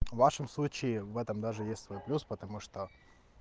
в вашем случае в этом даже есть свой плюс потому что